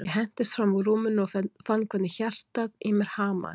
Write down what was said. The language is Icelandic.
Ég hentist fram úr rúminu og fann hvernig hjartað í mér hamaðist.